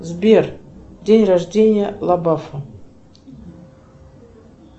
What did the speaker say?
сбер день рождения лабафа